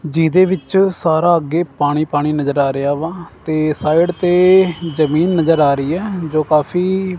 ਜਿਹਦੇ ਵਿੱਚ ਸਾਰਾ ਅੱਗੇ ਪਾਣੀ ਪਾਣੀ ਨਜ਼ਰ ਆ ਰਿਹਾ ਵਾ ਤੇ ਸਾਈਡ ਤੇ ਜਮੀਨ ਨਜ਼ਰ ਆ ਰਹੀ ਹੈ ਜੋ ਕਾਫੀ--